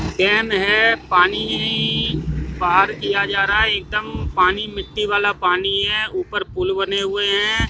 केम है पानी बाहर किया जा रहा है एकदम पानी मिट्टी वाला पानी है। ऊपर पूल बने हुए हैं।